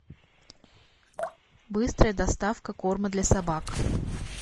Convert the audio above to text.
быстрая доставка корма для собак